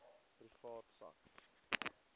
privaat sak